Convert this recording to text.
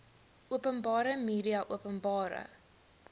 openbare media openbare